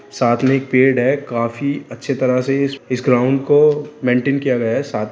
साथ में एक पेड़ है काफी अच्छी तरह से इस ग्राउंड को मेंटेन किया गया है सा --